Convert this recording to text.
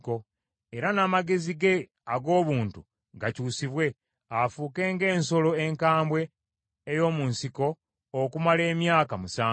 Era n’amagezi ge ag’obuntu gakyusibwe, afuuke ng’ensolo enkambwe ey’omu nsiko okumala emyaka musanvu.